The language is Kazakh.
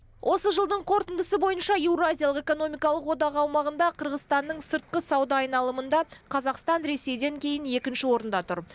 осы жылдың қорытындысы бойынша еуразиялық экономикалық одақ аумағында қырғызстанның сыртқы сауда айналымында қазақстан ресейден кейін екінші орында тұр